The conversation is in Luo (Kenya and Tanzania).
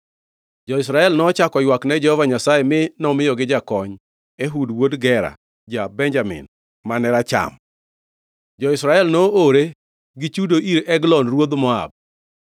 Jo-Israel nochako oywak ne Jehova Nyasaye mi nomiyogi jakony, Ehud, wuod Gera ja-Benjamin, mane racham. Jo-Israel noore gi chudo ir Eglon ruodh Moab.